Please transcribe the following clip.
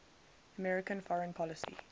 american foreign policy